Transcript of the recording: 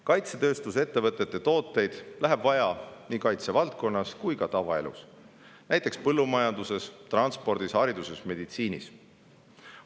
Kaitsetööstusettevõtete tooteid läheb vaja nii kaitsevaldkonnas kui ka tavaelus, näiteks põllumajanduses, transpordis, hariduses ja meditsiinis.